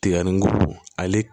Tiga ni ale